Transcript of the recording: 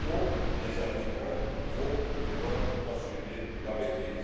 dont les Africains vont devoir assurer la maîtrise.